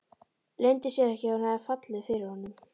Leyndi sér ekki að hún hafði fallið fyrir honum.